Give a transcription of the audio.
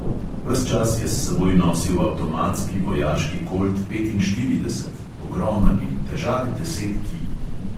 Ves čas je s seboj nosil avtomatski vojaški kolt petinštirideset, ogromen in težak deset kil.